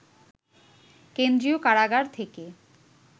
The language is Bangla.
কেন্দ্রীয় কারাগার থেকে